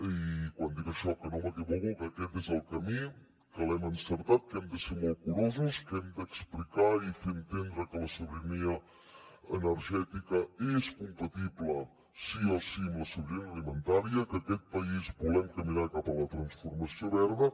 i quan dic això que no m’equivoco que aquest és el camí que l’hem encertat que hem de ser molt curosos que hem d’explicar i fer entendre que la sobirania energètica és compatible sí o sí amb la sobirania alimentària que aquest país volem caminar cap a la transformació verda